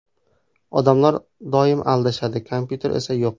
Odamlar doim adashadi, kompyuter esa yo‘q.